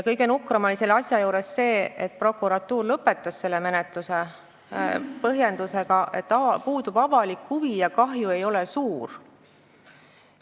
Kõige nukram oli selle juures see, et prokuratuur lõpetas menetluse põhjendusega, et puudub avalik huvi ja kahju ei ole suur.